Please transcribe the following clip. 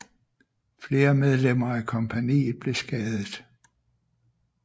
Flere medlemmer af kompagniet blev skadet